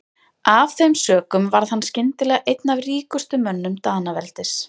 Af þeim sökum varð hann skyndilega einn af ríkustu mönnum Danaveldis.